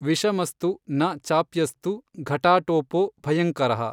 ವಿಷಮಸ್ತು ನ ಚಾಪ್ಯಸ್ತು ಘಟಾಟೋಪೋ ಭಯಙ್ಕರಃ।